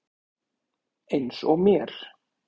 Eins og mér.